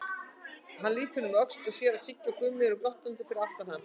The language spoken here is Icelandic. Hann lítur um öxl og sér að Siggi og Gummi eru glottandi fyrir aftan hann.